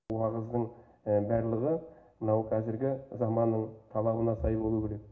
уағыздың барлығы мынау қазіргі заманның талабына сай болуы керек